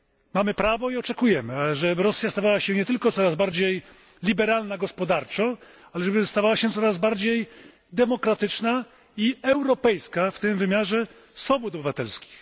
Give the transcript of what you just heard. Mamy prawo i oczekujemy, żeby Rosja stawała się nie tylko coraz bardziej liberalna gospodarczo, ale żeby stawała się coraz bardziej demokratyczna i europejska, w tym w wymiarze swobód obywatelskich.